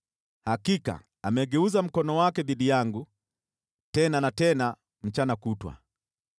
hakika, amegeuza mkono wake dhidi yangu tena na tena, mchana kutwa.